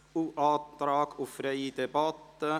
Es ist ein Antrag auf freie Debatte.